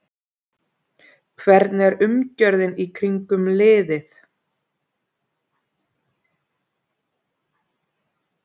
Hvernig er umgjörðin í kringum liðið?